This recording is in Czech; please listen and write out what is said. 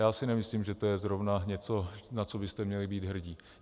Já si nemyslím, že to je zrovna něco, na co byste měli být hrdí.